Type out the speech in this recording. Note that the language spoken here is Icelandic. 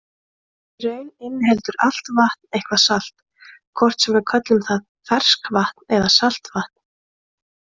Í raun inniheldur allt vatn eitthvað salt, hvort sem við köllum það ferskvatn eða saltvatn.